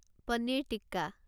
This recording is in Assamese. পনীৰ টিক্কা